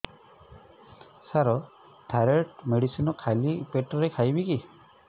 ସାର thyroid medicine ଖାଲି ପେଟରେ ଖାଇବି କି